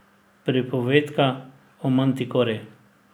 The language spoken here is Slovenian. Pripovedka o Mantikori.